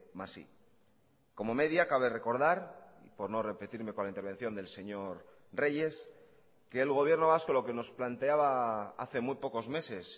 más i como media cabe recordar por no repetirme con la intervención del señor reyes que el gobierno vasco lo que nos planteaba hace muy pocos meses